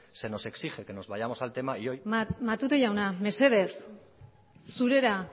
se nos exige que nos vayamos al tema y hoy matute jauna mesedez zurera